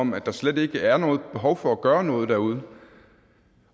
om at der slet ikke er noget behov for at gøre noget derude